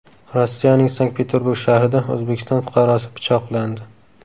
Rossiyaning Sankt-Peterburg shahrida O‘zbekiston fuqarosi pichoqlandi.